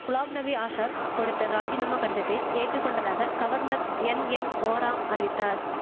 குலாப் நபி ஆசாத் கொடுத்த ராஜினாமா கடிதத்தை ஏற்றுகொண்டதாக கவர்னர் என் என் ஓரா அறிவித்தார்